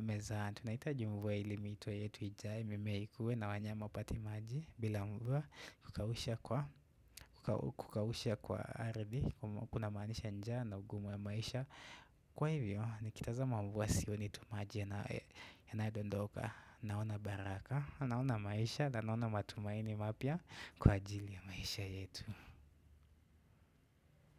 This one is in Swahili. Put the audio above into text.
mezani, tunahitaji mvua ili mito yetu ijae, mime ikuwe na wanyama wapate maji bila mvua kukausha kwa ardhi. Kuna maanisha njaa na ugumu ya maisha. Kwa hivyo, nikitazama mvua sione tu maji yanayo dondoka. Naona baraka, naona maisha na naona matumaini mapya kwa ajili ya maisha yetu.